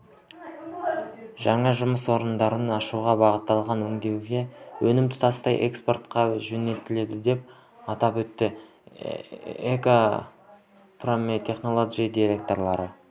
жаңа жұмыс орындарын ашуға бағытталған өңделетін өнім тұтастай экспортқа жөнелтіледі деп атап өтті экопромтехнолоджи директоры